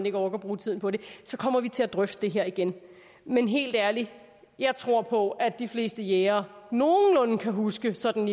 ikke orker at bruge tiden på det så kommer vi til at drøfte det her igen men helt ærligt jeg tror på at de fleste jægere nogenlunde kan huske sådan